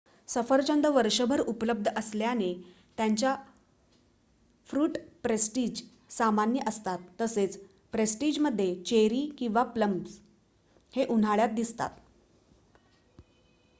सफरचंद वर्षभर उपलब्ध असल्याने त्याच्या फ्रुट पेस्ट्रीज सामान्य असतात तसेच पेस्ट्रीजमध्ये चेरी आणि प्लम्स हे उन्हाळ्यात दिसतात